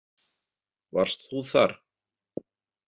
Varst þú þar?